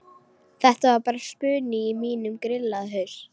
Þetta var bara spuni í mínum grillaða haus.